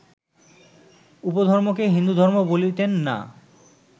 উপধর্মকে হিন্দুধর্ম বলিতেন না